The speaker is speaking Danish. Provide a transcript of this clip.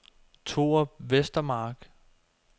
Torup Vestermark